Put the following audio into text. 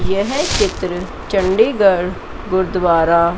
यह चित्र चंडीगढ़ गुरुद्वारा--